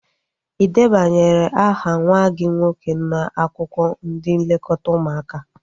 Ị debanyere aha nwa gị nwoke n'akwụkwọ ndị nlekọta ụmụaka?